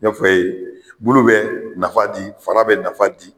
N y'a Fɔ i ye bulu bɛ nafa di, fara bɛ nafa di.